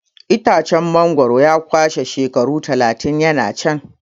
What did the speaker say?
Itacen mangwaro ya kwashe shekaru talatin yana can.